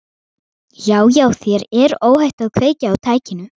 Já, já, þér er óhætt að kveikja á tækinu.